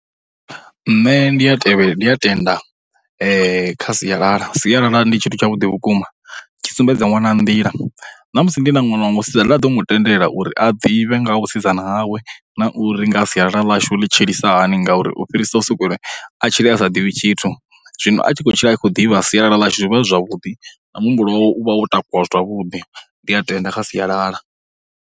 Nṋe ndi ya tevhe ndi ya tenda kha sialala, sialala ndi tshithu tshavhuḓi vhukuma, tshi sumbedza ṅwana nḓila, na musi ndi na ṅwana wa musidzana nda ḓo mu tendela uri a ḓivhe nga ha vhusidzana hawe na uri ngaha sialala ḽashu ḽi tshilisa hani ngauri u fhirisa u sokou uri a tshile a sa ḓivhi tshithu. Zwino a tshi khou tshila a khou ḓivha sialala ḽashu zwi vha zwi zwavhuḓi, na muhumbulo wawe u vha wo takuwa zwavhuḓi, ndi a tenda kha sialala.